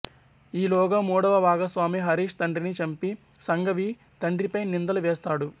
ఈలోగా మూడవ భాగస్వామి హరీష్ తండ్రిని చంపి సంఘవి తండ్రిపై నిందలు వేస్తాడు